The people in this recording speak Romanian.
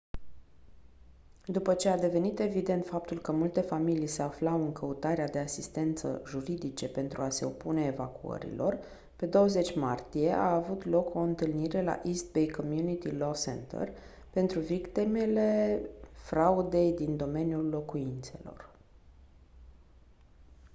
după ce a devenit evident faptul că multe familii se aflau în căutarea de asistență juridice pentru a se opune evacuărilor pe 20 martie a avut loc o întâlnire la east bay community law center pentru victimele fraudei din domeniul locuințelor